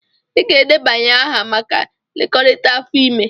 Ị ga-edebanye aha maka nlekọta afọ ime!